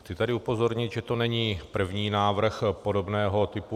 Chci tady upozornit, že to není první návrh podobného typu.